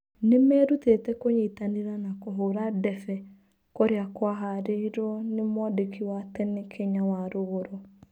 Nĩmerutĩte kũnyitanĩra na kũhũra ndebe kũrĩa kwaharĩirwo nĩ mwandĩki wa tene Kenya Warũgũrũ.